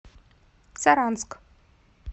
саранск